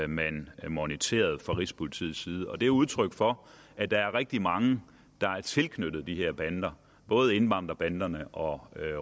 man moniterede fra rigspolitiets side det er udtryk for at der er rigtig mange der er tilknyttet de her bander både indvandrerbanderne og